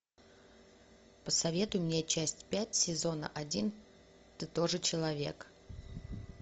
посоветуй мне часть пять сезона один ты тоже человек